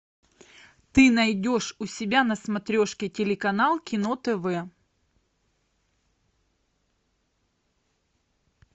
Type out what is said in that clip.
ты найдешь у себя на смотрешке телеканал кино тв